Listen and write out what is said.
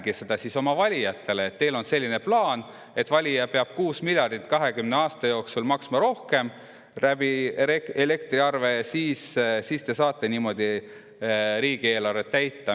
Aga rääkige siis ka oma valijatele, et teil on selline plaan, et valija peab 6 miljardit 20 aasta jooksul elektriarve näol rohkem maksma ja te saate niimoodi riigieelarvet täita.